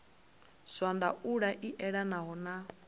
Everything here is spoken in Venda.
zwa ndaulo i elanaho na